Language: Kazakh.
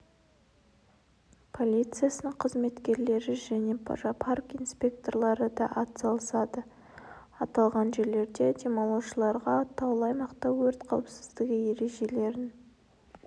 полициясының қызметкерлері және парк инспекторлары да атсалысады аталған жерлерде демалушыларға таулы аймақта өрт қауіпсіздігі ережелерін